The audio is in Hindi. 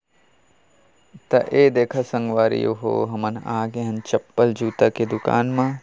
त ए देखो संगवारी ओ हो हमन आ गे हन चप्पल जूता की दुकान मा।